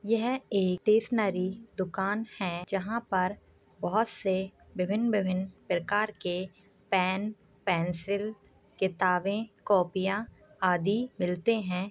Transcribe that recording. यह एक स्टेशनरी दुकान है जहाँ पर बहुत से विभिन्न- विभिन्न प्रकार के पेन पेंसिल किताबें कॉपियाँ आदि मिलते हैं।